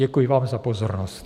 Děkuji vám za pozornost.